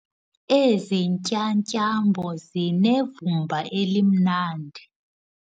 Ezi ntyatyambo zinevumba elimnandi.